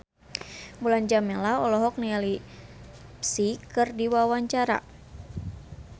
Mulan Jameela olohok ningali Psy keur diwawancara